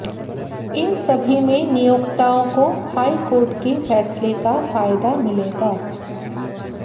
इन सभी में नियोक्ताओं को हाई कोर्ट के फैसले का फायदा मिलेगा